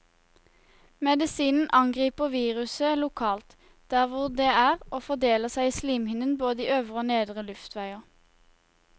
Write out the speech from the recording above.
Medisinen angriper viruset lokalt, der hvor det er, og fordeler seg i slimhinnen både i øvre og nedre luftveier.